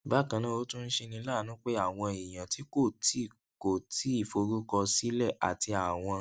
bákan náà ó tún ń ṣeni láàánú pé àwọn èèyàn tí kò tíì kò tíì forúkọsílẹ àti àwọn